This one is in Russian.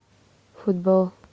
футбол